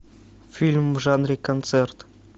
фильм в жанре концерт